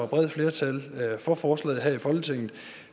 bredt flertal for forslaget her i folketinget